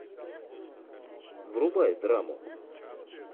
врубай драму